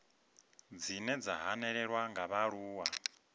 dzine dza hanelelwa nga vhaaluwa